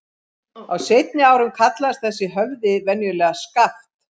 Á seinni árum kallaðist þessi höfði venjulega Skaft.